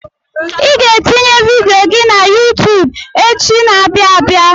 Ị ga-etinye vidiyo gị na YuuTub echi na-abịa abịa.